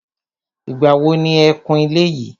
Ìgbà wo ni e kun ilé yìí.